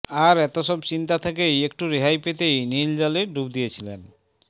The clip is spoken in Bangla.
আর এত সব চিন্তা থেকে একটু রেহাই পেতেই নীল জলে ডুব দিয়েছিলেন